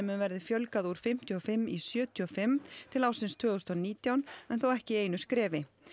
verði fjölgað úr fimmtíu og fimm í sjötíu og fimm til ársins tvö þúsund og nítján en þó ekki í einu skrefi